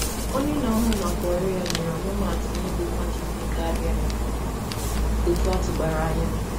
Onye na-ahụ maka ọrụ ya nyere ihe atụ iji gosi ihe ọ pụtara I mee I mee karịa etu eleranya